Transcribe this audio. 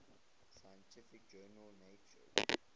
scientific journal nature